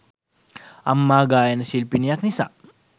අම්මා ගායන ශිල්පිණියක් නිසා